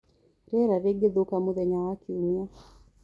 rĩera nirigathuka mũthenya wa kĩumĩa